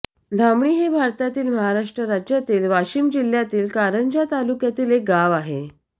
धामणी हे भारतातील महाराष्ट्र राज्यातील वाशिम जिल्ह्यातील कारंजा तालुक्यातील एक गाव आहे